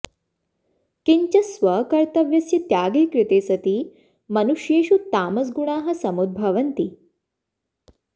किञ्च स्वकर्तव्यस्य त्यागे कृते सति मनुष्येषु तामसगुणाः समुद्भवन्ति